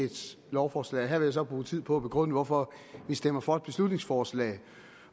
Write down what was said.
et lovforslag her vil jeg så bruge tid på at begrunde hvorfor vi stemmer for et beslutningsforslag